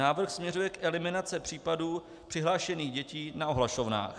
Návrh směřuje k eliminaci případů přihlášených dětí na ohlašovnách.